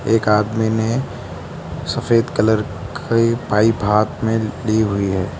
एक आदमी ने सफेद कलर के पाइप हाथ में ली हुई है।